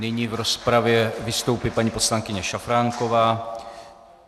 Nyní v rozpravě vystoupí paní poslankyně Šafránková.